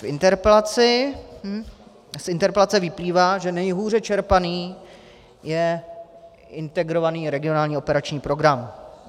Z interpelace vyplývá, že nejhůře čerpaný je Integrovaný regionální operační program.